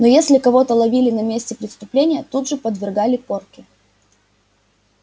но если кого-то ловили на месте преступления тут же подвергали порке